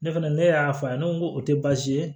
Ne fɛnɛ ne y'a fɔ a ye ne ko nko o te baasi ye